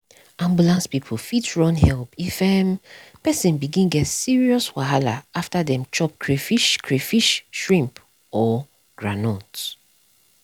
ambulance people fit run help if um person begin get serious wahala after them chop crayfish crayfish shrimp or groundnut.